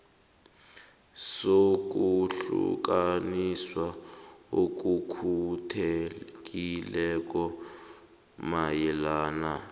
sokuhlukaniswa okukhethekileko mayelana